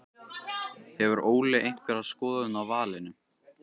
Hefur Óli einhverja skoðun á valinu?